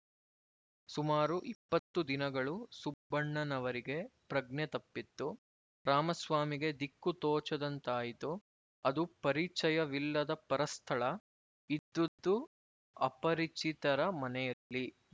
ಸುಮಾರು ಇಪ್ಪತ್ತು ದಿನಗಳು ಸುಬ್ಬಣ್ಣನವರಿಗೆ ಪ್ರಜ್ಞೆ ತಪ್ಪಿತ್ತು ರಾಮಸ್ವಾಮಿಗೆ ದಿಕ್ಕು ತೋಚದಂತಾಯಿತು ಅದು ಪರಿಚಯವಿಲ್ಲದ ಪರಸ್ಥಳ ಇದ್ದುದು ಅಪರಿಚಿತರ ಮನೆಯಲ್ಲಿ